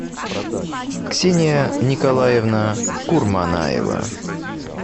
ксения николаевна курманаева